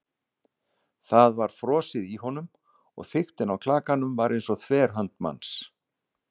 Það var frosið í honum- og þykktin á klakanum var eins og þverhönd manns.